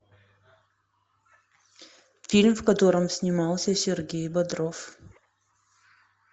фильм в котором снимался сергей бодров